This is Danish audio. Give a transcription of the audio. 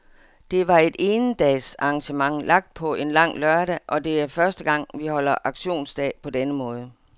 Det var et endagsarrangement lagt på en langlørdag, og det er første gang, vi holder aktionsdag på den måde.